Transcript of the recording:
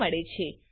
તરીકે મળે છે